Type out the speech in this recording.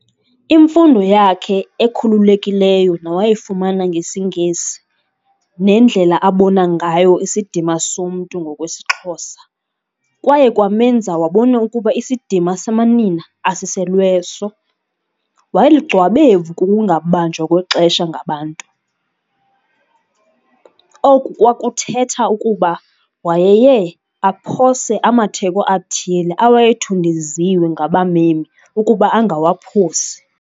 Imfundo yakhe ekhululekileyo nawayifumana ngesiNgesi nendlela abona ngayo isidima somntu ngokwesiXhosa kwaye kwamenza wabona ukuba isidima samanina asiselweso, wayelugcwabevu kukungabanjwa kwexesha ngabantu, oku kwakuthetha ukuba wayeye aphose amatheko athile awayethundeziwe ngabamemi ukuba angawaphosi.